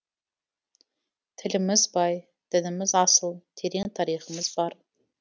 тіліміз бай дініміз асыл терең тарихымыз бар